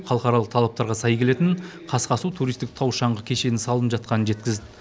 халықаралық талаптарға сай келетін қасқасу туристік тау шаңғы кешені салынып жатқанын жеткізді